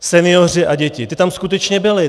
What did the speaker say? Senioři a děti, ti tam skutečně byli.